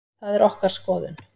Það er okkar skoðun.